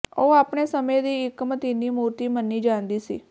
ਉਹ ਆਪਣੇ ਸਮੇਂ ਦੀ ਇੱਕ ਮਤੀਨੀ ਮੂਰਤੀ ਮੰਨੀ ਜਾਂਦੀ ਸੀ